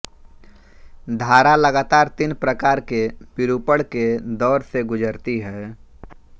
धारा लगातार तीन प्रकार के विरूपण के दौर से गुज़रती है